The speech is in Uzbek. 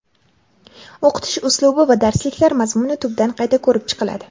o‘qitish uslubi va darsliklar mazmuni tubdan qayta ko‘rib chiqiladi.